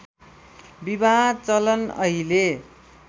विवाह चलन अहिले